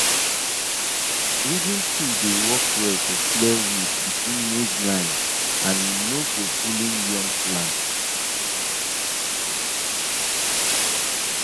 weeding tool dey work well to clear weed between maize line and e no go pulling young plant